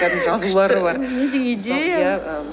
жазулары бар